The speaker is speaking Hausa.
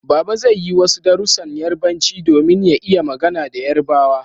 Baba zai yi wasu darussan Yarbanci domin ya iya magana da yarbawa